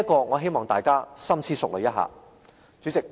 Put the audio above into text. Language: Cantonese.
我希望大家深思熟慮一下。